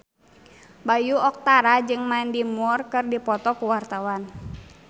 Bayu Octara jeung Mandy Moore keur dipoto ku wartawan